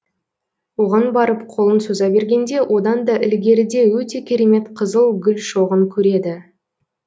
оған барып қолын соза бергенде одан да ілгеріде өте керемет қызыл гүл шоғын көреді